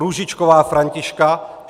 Růžičková Františka